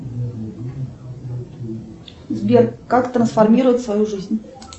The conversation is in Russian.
сбер как трансформировать свою жизнь